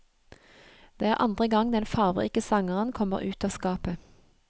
Det er andre gang den farverike sangeren kommer ut av skapet.